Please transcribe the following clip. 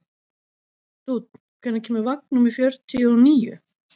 Dúnn, hvenær kemur vagn númer fjörutíu og níu?